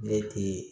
Ne ti